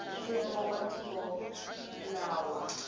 mfumo wa tiko na wa